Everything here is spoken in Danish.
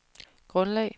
grundlag